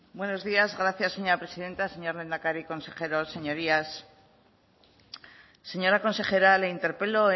buenos días gracias señora presidenta señor lehendakari consejeros señorías señora consejera le interpelo